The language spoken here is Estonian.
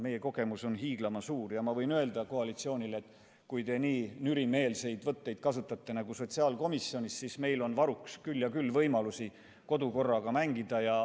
Meie kogemus on hiiglama suur ja ma võin öelda koalitsioonile, et kui te nii nürimeelseid võtteid kasutate nagu sotsiaalkomisjonis, siis meil on varuks küll ja küll võimalusi kodukorraga mängida.